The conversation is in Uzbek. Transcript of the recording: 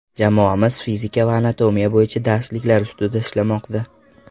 Jamoamiz fizika va anatomiya bo‘yicha darsliklar ustida ishlamoqda.